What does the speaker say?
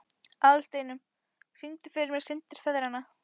Aðalsteinunn, syngdu fyrir mig „Syndir feðranna“.